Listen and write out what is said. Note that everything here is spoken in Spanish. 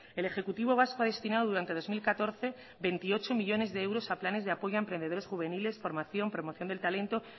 el ejecutivo vasco ha destinado durante dos mil catorce veintiocho millónes de euros a planes de apoyo a emprendedores juveniles formación promoción del talento